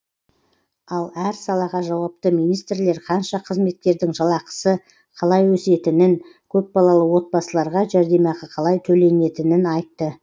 ал әр салаға жауапты министрлер қанша қызметкердің жалақысы қалай өсетінін көпбалалы отбасыларға жәрдемақы қалай төленетінін айтты